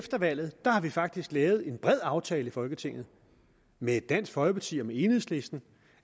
efter valget har vi faktisk lavet en bred aftale i folketinget med dansk folkeparti og enhedslisten